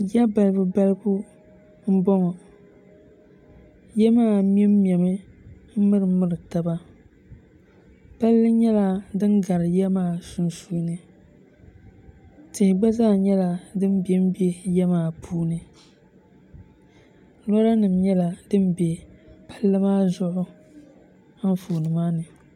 ya balibali m-bɔŋɔ ya maa mɛmmɛmi m-mirimiri taba palli nyɛla din gari ya maa sunsuuni tihi gba zaa nyɛla din bembe ya maa sunsuuni loorinima nyɛla din be palli maa zuɣu anfooni maa ni